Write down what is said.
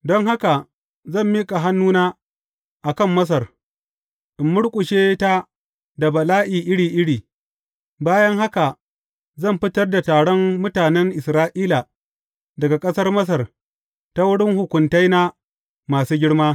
Don haka zan miƙa hannuna a kan Masar, in murƙushe ta da bala’i iri iri, bayan haka zan fitar da taron mutanen Isra’ila daga ƙasar Masar ta wurin hukuntaina masu girma.